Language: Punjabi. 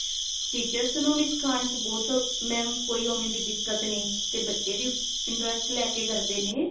teachers ਨੂੰ ਸਿਖਾਉਣ ਵਿੱਚ but mam ਕੋਈ ਓਵੇਂ ਦੀ ਦਿੱਕਤ ਨਹੀ ਤੇ ਬੱਚੇ ਵੀ interest ਲੈਕੇ ਕਰਦੇ ਨੇ